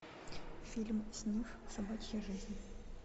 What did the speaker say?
фильм снифф собачья жизнь